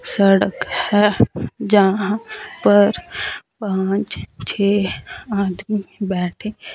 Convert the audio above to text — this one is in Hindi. सड़क है जहां पर पांच छे आदमी बैठे--